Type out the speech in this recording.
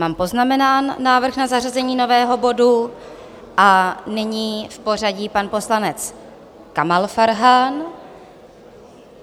Mám poznamenán návrh na zařazení nového bodu a nyní v pořadí pan poslanec Kamal Farhan.